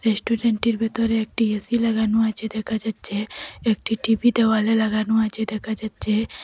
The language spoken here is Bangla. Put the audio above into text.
রেস্টুরেন্ট -টির ভিতরে একটি এ_সি লাগানো আছে দেখা যাচ্ছে একটি টি_ভি দেওয়ালে লাগানো আছে দেখা যাচ্ছে।